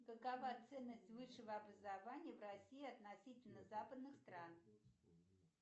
какова ценность высшего образования в россии относительно западных стран